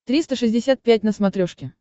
триста шестьдесят пять на смотрешке